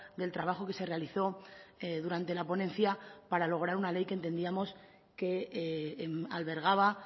del trabajo que se realizó durante la ponencia para lograr una ley que entendíamos que albergaba